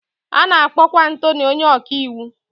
A na-akpọkwa atọnị onye ọkàiwu